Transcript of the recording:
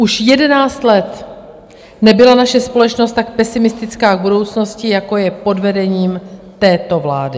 Už jedenáct let nebyla naše společnost tak pesimistická k budoucnosti, jako je pod vedením této vlády.